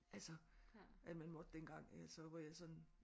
Altså at man måtte dengang altså hvor jeg sådan